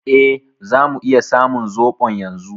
E, zamu iya samun zoɓon yanzu.